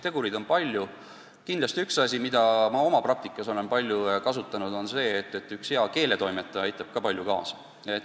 Aga kindlasti üks asi, mida ma oma praktikas olen palju kasutanud, on hea keeletoimetaja abi.